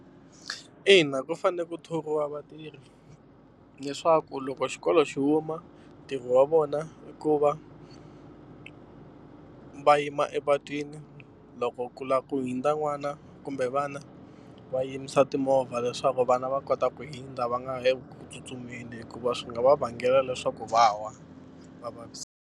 Ina ku fane ku thoriwa vatirhi leswaku loko xikolo xi huma ntirho wa vona i ku va va yima epatwini loko ku lava ku hundza n'wana kumbe vana va yimisa timovha leswaku vana va kota ku hundza va nga le ku tsutsumeni hikuva swi nga va vangela leswaku va wa va .